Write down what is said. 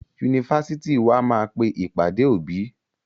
Yunifásitì wa máa pe ìpàdé òbí.